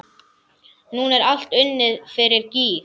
Núna er allt unnið fyrir gýg.